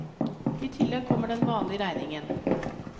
I tillegg kommer den vanlige regningen.